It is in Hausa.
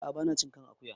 Ah ah ba na cin kan akuya